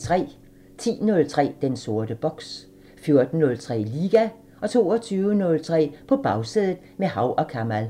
10:03: Den sorte boks 14:03: Liga 22:03: På Bagsædet – med Hav & Kamal